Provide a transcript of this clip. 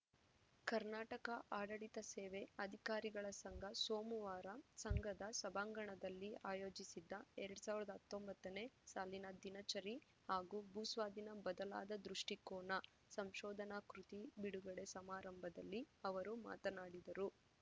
ಕರ್ನಾಟಕ ಆಡಳಿತ ಸೇವೆ ಅಧಿಕಾರಿಗಳ ಸಂಘ ಸೋಮವಾರ ಸಂಘದ ಸಭಾಂಗಣದಲ್ಲಿ ಆಯೋಜಿಸಿದ್ದ ಎರಡ್ ಸಾವಿರದ ಹತ್ತೊಂಬತ್ತನೇ ಸಾಲಿನ ದಿನಚರಿ ಹಾಗೂ ಭೂಸ್ವಾಧೀನ ಬದಲಾದ ದೃಷ್ಟಿಕೋನ ಸಂಶೋಧನಾ ಕೃತಿ ಬಿಡುಗಡೆ ಸಮಾರಂಭದಲ್ಲಿ ಅವರು ಮಾತನಾಡಿದರು